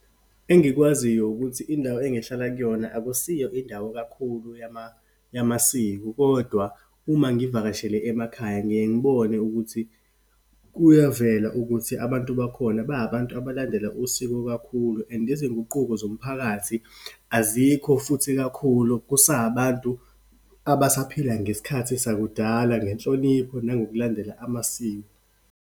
Engikwaziyo ukuthi indawo engihlala kuyona akusiyo indawo kakhulu yamasiko, kodwa uma ngivakashele emakhaya ngiye ngibone ukuthi kuyavela ukuthi abantu bakhona bahabantu abalandela usiko kakhulu. And izinguquko zomphakathi, azikho futhi kakhulu. Kusahabantu abasaphila ngesikhathi sakudala, ngenhlonipho nangokulandela amasiko.